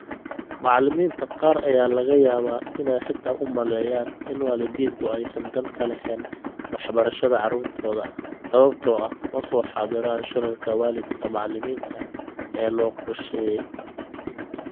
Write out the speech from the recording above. Macallimiinta qaar ayaa laga yaabaa inay xitaa u maleeyaan in waalidiintu aysan dan ka lahayn waxbarashada carruurtooda sababtoo ah ma soo xaadiraan shirarka waalidka-macallimiinta ee loo qorsheeyay.